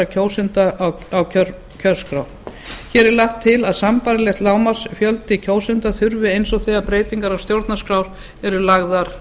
kjósenda á kjörskrá hér er lagt til að sambærilegan lágmarksfjölda kjósenda þurfi eins og þegar breytingar á stjórnarskrá eru lagðar